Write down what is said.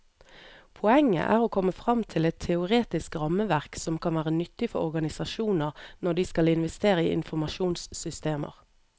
Poenget er å komme frem til et teoretisk rammeverk som kan være nyttig for organisasjoner når de skal investere i informasjonssystemer.